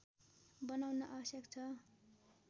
बनाउन आवश्यक छ